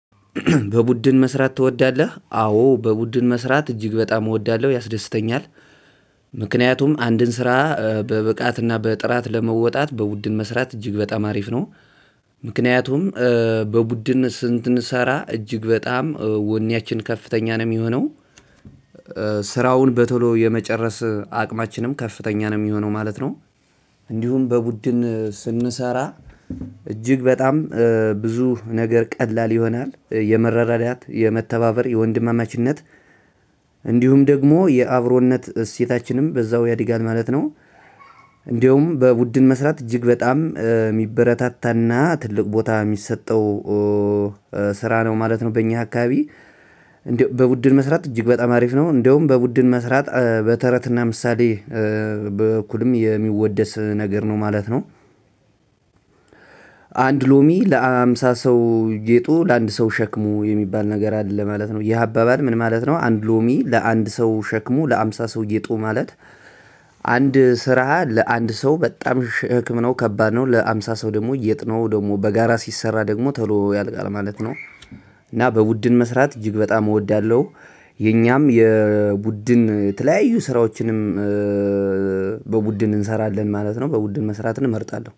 በቡድን መስራት ትወዳለህ? አዎ በቡድን መስራት እጅግ በጣም እወዳለሁ ያስደስተኛል። ምክንያቱም አንድን ስራ በብቃትና በጥራት ለመወጣት በቡድን መስራት እጅግ በጣም አሪፍ ነው። ምክንያቱም በቡድን ስንት ስንሰራ እጅግ በጣም ወኔያችን ከፍተኛ ነው የሚሆነው። ስራውን በቶሎ የመጨረስ አቅማችንም ከፍተኛ ነው የሚሆነው ማለት ነው። እንዲሁም በቡድን ስንሰራ እጅግ በጣም ብዙ ነገር ቀላል ይሆናል የመረዳዳት የመተባበር የወንድማማችነት። እንዲሁም ደግሞ የአብሮነት እሴታችንም በዛው ያድጋል ማለት ነው። እንዲሁም በቡድን መስራት እጅግ በጣም የሚበረታታና ትልቅ ቦታ የሚሰጠው። ስራ ነው ማለት ነው በእኛ አካባቢ። እንዲሁም በቡድን መስራት እጅግ በጣም አሪፍ ነው። እንደውም በቡድን መስራት በተረትና ምሳሌ በእኩልም የሚወደስ ነገር ነው ማለት ነው። አንድ ሎሚ ለሃምሳ ሰው ጌጡ ለአንድ ሰው ሸክሙ የሚባል ነገር አለ ማለት ነው። ይህ አባባል ምን ማለት ነው? አንድ ሎሚ ለአንድ ሰው ሸክሙ ለሃምሳ ሰውዬ ጌጡ ማለት። አንድ ስራ ለአንድ ሰው በጣም ሽክም ነው ከባድ ነው ለሃምሳ ሰው ደግሞ ጌጥ ነው ደግሞ በጋራ ሲሰራ ደግሞ ቶሎ ያልቃል ማለት ነው። እና በቡድን መስራት እጅግ በጣም እወዳለሁ። የኛም የቡድን የተለያዩ ስራዎችንም። በቡድን እንሰራለን ማለት ነው በቡድን መስራት እመርጣለሁ